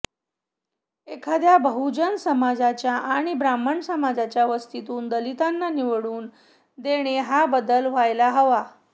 एखाद्या बहुजन समाजाच्या किंवा ब्राह्मण समाजाच्या वस्तीतून दलितांना निवडून देणे हा बदल व्हायला हवा